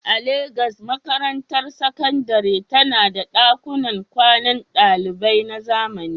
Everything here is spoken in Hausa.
A Legas, makarantar sakandare tana da ɗakunan kwanan ɗalibai na zamani.